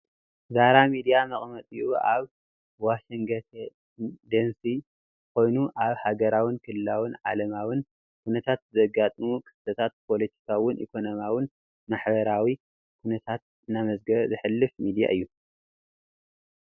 ዛራ ሚድያ መቀመጢ ኡ ኣብ ዋሽንግተን ዲሲ ኮይኑ ኣብ ሃገራውን ክልላውን ዓለማውን ኩነታት ዘጋጠሙ ክስተታት ፖሎቲካውን ኢኮኖሚኣውን ማሕበራው ኩነታት እናዘገበ ዘሕልፍ ሚድያ እዩ::